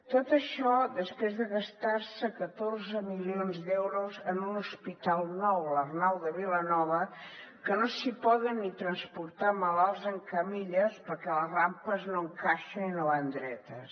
tot això després de gastar se catorze milions d’euros en un hospital nou l’arnau de vilanova que no s’hi poden ni transportar malalts en camilles perquè a les rampes no encaixen i no van dretes